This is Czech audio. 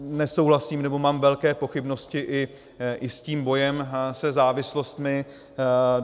Nesouhlasím, nebo mám velké pochybnosti i s tím bojem se závislostmi.